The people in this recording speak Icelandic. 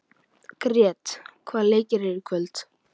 Grét, hvaða leikir eru í kvöld?